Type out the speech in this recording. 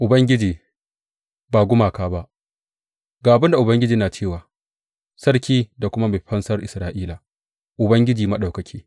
Ubangiji, ba gumaka ba Ga abin da Ubangiji yana cewa, Sarki da kuma Mai Fansar Isra’ila, Ubangiji Maɗaukaki.